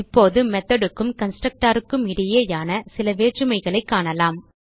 இப்போது மெத்தோட் க்கும் constructorக்கும் இடையேயான சில வேற்றுமைகளைக் காணலாம்